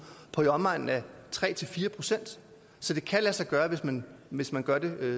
på i omegnen af tre fire procent så det kan lade sig gøre hvis man hvis man gør det